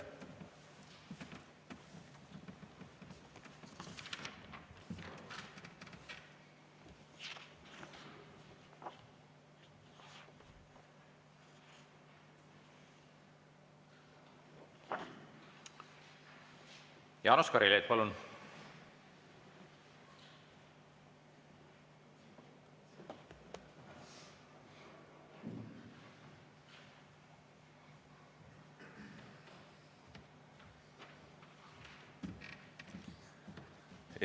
Jaanus Karilaid, palun!